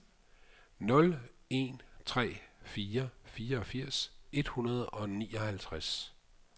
nul en tre fire fireogfirs et hundrede og nioghalvtreds